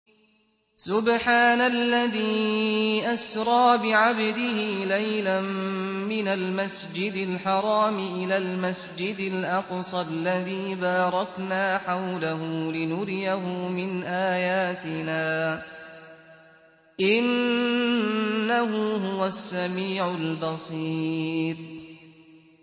سُبْحَانَ الَّذِي أَسْرَىٰ بِعَبْدِهِ لَيْلًا مِّنَ الْمَسْجِدِ الْحَرَامِ إِلَى الْمَسْجِدِ الْأَقْصَى الَّذِي بَارَكْنَا حَوْلَهُ لِنُرِيَهُ مِنْ آيَاتِنَا ۚ إِنَّهُ هُوَ السَّمِيعُ الْبَصِيرُ